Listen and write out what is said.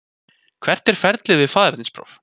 Hvert er ferlið við faðernispróf?